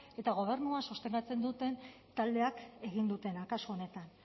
eta gobernua sostengatzen duten taldeek ezin dutena kasu honetan